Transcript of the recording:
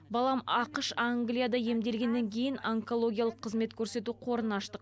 балам ақш англияда емделгеннен кейін онкологиялық қызмет көрсету қорын аштық